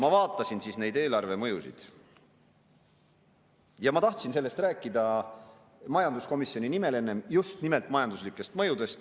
Ma vaatasin neid eelarvemõjusid ja ma tahtsin nendest enne rääkida majanduskomisjoni nimel, just nimelt majanduslikest mõjudest.